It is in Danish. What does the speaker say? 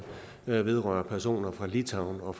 vedrører personer fra litauen og